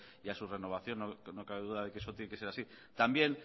y a su renovación no cabe duda de que esto tiene que ser así también